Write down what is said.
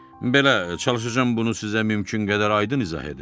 Belə, çalışacam bunu sizə mümkün qədər aydın izah edim.